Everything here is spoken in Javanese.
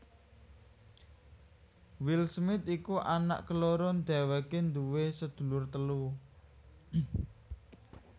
Will Smith iku anak keloro dhéwéké duwé sedulur telu